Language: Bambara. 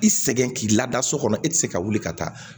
I sɛgɛn k'i lada so kɔnɔ e ti se ka wuli ka taa